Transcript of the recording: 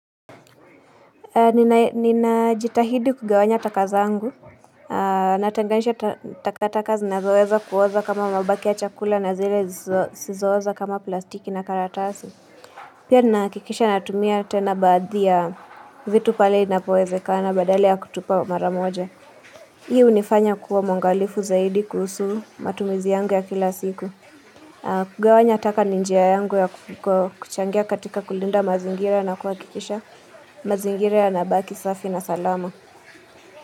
Nina jitahidi kugawanya takazangu, natenganisha takataka zinazoweza kuoza kama mabaki ya chakula na zile zizoza kama plastiki na karatasi. Pia nahakikisha natumia tena badhi ya vitu pale inapoweze kana badali ya kutupa maramoja. Hii hunifanya kuwa mwangalifu zaidi kuhusu matumizi yangu ya kila siku. Kugawanya taka ninjia yangu ya kuchangia katika kulinda mazingira na kuhakikisha mazingira yana baki safi na salama.